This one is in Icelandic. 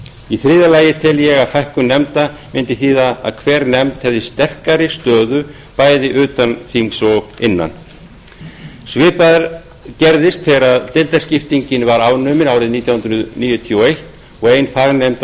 í þriðja lagi tel ég að fækkun nefnda mundi þýða að hver nefnd hefði sterkari stöðu bæði innan og utan þingsins svipað gerðist þegar deildaskiptingin var afnumin nítján hundruð níutíu og eins og ein fagnefnd